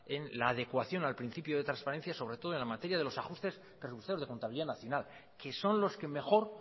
en la adecuación al principio de transparencia sobre todo en la materia de los ajustes presupuestarios de contabilidad nacional que son los que mejor